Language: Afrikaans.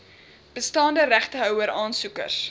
bestaande regtehouer aansoekers